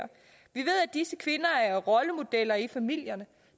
disse kvinder er rollemodeller i familierne